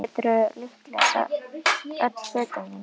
Þá geturðu líklega selt öll fötin þín